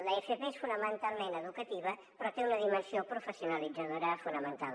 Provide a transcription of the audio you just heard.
l’fp és fonamentalment educativa però té una dimensió professionalitzadora fonamental